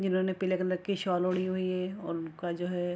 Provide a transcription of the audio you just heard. जिन्होंने पीले कलर की शॉल ओढ़ी हुई है उनका जो है --